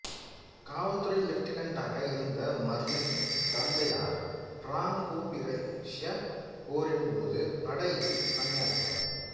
காவல்துறை லெப்டினண்ட்டாக இருந்த மர்லீனின் தந்தையார் பிராங்கோபிரஷ்யப் போரின் போது படையில் பணியாற்றியவர்